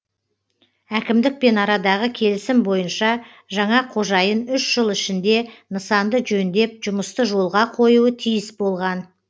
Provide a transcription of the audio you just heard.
әкімдікпен арадағы келісім бойынша жаңа қожайын үш жыл ішінде нысанды жөндеп жұмысты жолға қоюы тиіс болған